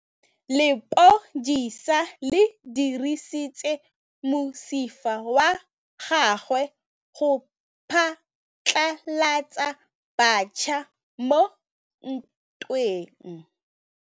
Lepodisa le dirisitse mosifa wa gagwe go phatlalatsa batšha mo ntweng.